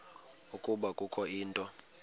ukuba kukho into